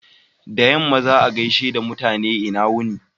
Da yamma, za'a gaishe mutane "lna wuni."